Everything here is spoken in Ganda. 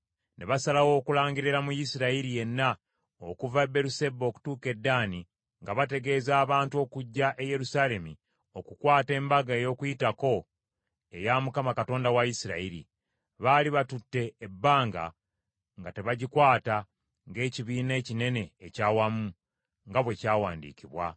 Ne basalawo okulangirira mu Isirayiri yenna, okuva e Beeruseba okutuuka e Ddaani, nga bategeeza abantu okujja e Yerusaalemi okukwata Embaga ey’Okuyitako eya Mukama Katonda wa Isirayiri; baali batutte ebbanga nga tebagikwata ng’ekibiina ekinene eky’awamu, nga bwe kyawandiikibwa.